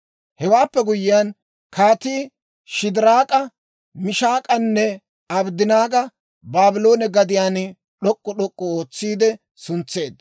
Hewaappe guyyiyaan, kaatii Shidiraak'a, Mishaak'anne Abddanaaga Baabloone gadiyaan d'ok'k'u d'ok'k'u ootsiide suntseedda.